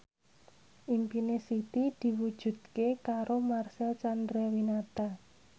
impine Siti diwujudke karo Marcel Chandrawinata